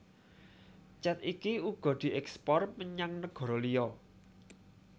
Cet iki uga dièkspor menyang negara liya